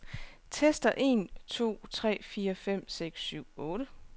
Tester en to tre fire fem seks syv otte.